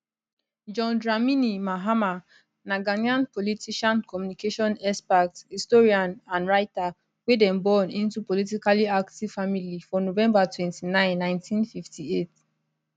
john dramini mahama na ghanaian politician communication expert historian and writer wey dem born into politically active family for november 29 1958